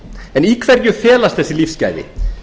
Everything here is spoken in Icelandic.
en í hverju felast þessi lífsgæði